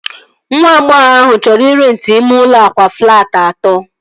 Nwa agbọghọ ahụ chọrọ ị renti ime ụlọ akwa flaati atọ